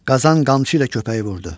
Qazan qamçı ilə köpəyi vurdu.